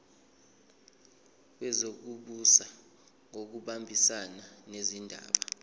wezokubusa ngokubambisana nezindaba